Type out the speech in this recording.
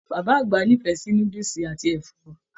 Bàbá àgbà n'ifẹ sí núdúsí àti ẹfọ.